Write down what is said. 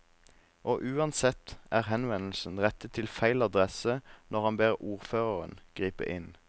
Og uansett er henvendelsen rettet til feil adresse når han ber ordføreren gripe inn.